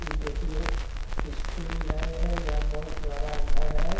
इ देखिये स्कूल लगे हई या बहुत बड़ा घर है।